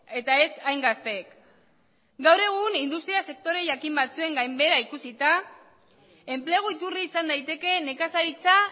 eta ez hain gazteek gaur egun industria sektore jakin batzuen gainbehera ikusita enplegu iturri izan daiteke nekazaritza